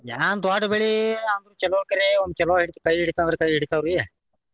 ಏನ್ ದೊಡ್ದ್ ಬೆಳಿ ಅಂದ್ರ ಚೊಲೋ ಕರೆ ಒಮ್ಮ ಚೊಲೋ ಹಿಡಿತ ಕೈ ಹಿಡಿತಂದ್ರ ಕೈ ಹಿಡಿತಾವ್ರಿ.